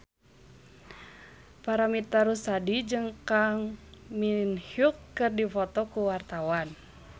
Paramitha Rusady jeung Kang Min Hyuk keur dipoto ku wartawan